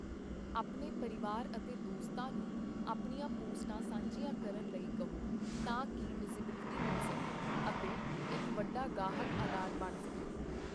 ਆਪਣੇ ਪਰਿਵਾਰ ਅਤੇ ਦੋਸਤਾਂ ਨੂੰ ਆਪਣੀਆਂ ਪੋਸਟਾਂ ਸਾਂਝੀਆਂ ਕਰਨ ਲਈ ਕਹੋ ਤਾਂ ਕਿ ਵਿਜ਼ੀਬਿਲਟੀ ਮਿਲ ਸਕੇ ਅਤੇ ਇੱਕ ਵੱਡਾ ਗਾਹਕ ਅਧਾਰ ਬਣ ਸਕੇ।